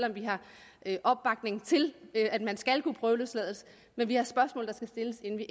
vi giver opbakning til at man skal kunne prøveløslades men vi har spørgsmål der skal stilles inden vi